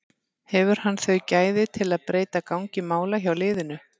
Hefur hann þau gæði til að breyta gangi mála hjá liðinu?